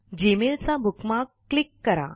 Gmailचा bookmark click करा